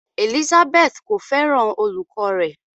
Elizabeth ko fẹràn olùkọ rẹ.